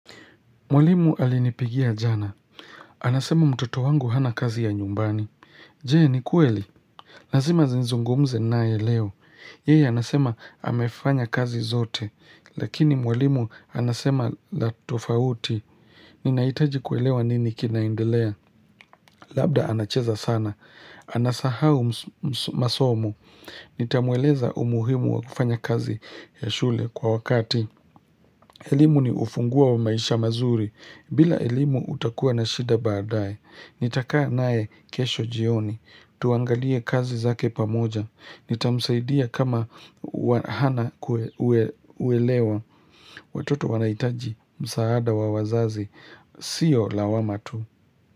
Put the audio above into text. Mwalimu alinipigia jana. Anasema mtoto wangu hana kazi ya nyumbani. Jee ni kweli. Lazima zinizungumze nae leo. Yeyee anasema amefanya kazi zote. Lakini mwalimu anasema la tofauti. Ninahitaji kuelewa nini kinaendelea. Labda anacheza sana. Anasahau msumasomu. Nitamueleza umuhimu wa kufanya kazi ya shule kwa wakati. Elimu ni ufunguo wa maisha mazuri, bila elimu utakuwa na shida baadae, nitakaa nae kesho jioni, tuangalie kazi zake pamoja, nitamsaidia kama hana uelewa, watoto wanahitaji, msaada wa wazazi, siyo lawama tu.